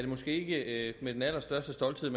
måske ikke med den allerstørste stolthed